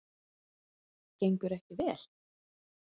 Ingveldur: Gengur ekki vel?